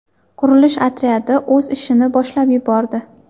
Qurilish otryadi o‘z ishini boshlab yubordi.